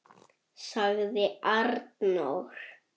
sagði Arnór.